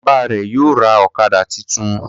Bàbá rẹ yóò ra okada títún.